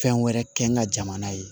Fɛn wɛrɛ kɛ n ka jamana ye